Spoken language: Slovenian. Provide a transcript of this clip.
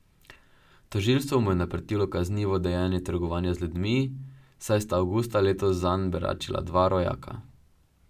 Tožilstvo mu je naprtilo kaznivo dejanje trgovanja z ljudmi, saj sta avgusta letos zanj beračila dva rojaka.